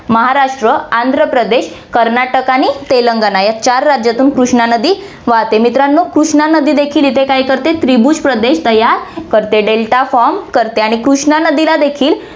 महाराष्ट्र, आंध्रप्रदेश, कर्नाटक आणि तेलंगणा या चार राज्यांतून कृष्णा नदी वाहते. मित्रांनो, कृष्णा नदी देखील इथे काय करते, त्रिभुज प्रदेश तयार करते, delta form करते आणि कृष्णा नदीला देखील